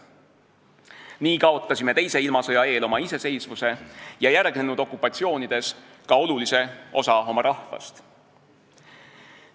Nii kaotasime teise ilmasõja eel oma iseseisvuse ja järgnenud okupatsioonides ka olulise osa oma rahvast.